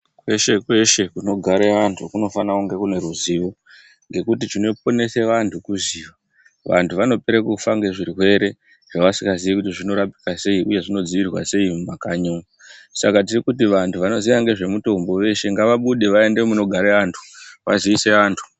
Kweshe kweshe kunogara antu kufana kunge kuneruzivo ngekuti chinoponese vantu kuziva vantu vanopere kufa ngezvirwere zvasingazi kuti zvinorapiwa sei uye zvinodzirirwa sei mumakanyi umu saka tirikuti vantu vanoziya ngezvemutimbo veshe ngavabude vaende munogara vantu vaziise vantu.